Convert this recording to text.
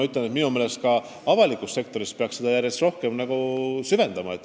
Seega, ka avalikus sektoris peaks seda suunda järjest rohkem hoidma.